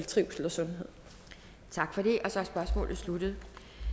trivsel og sundhed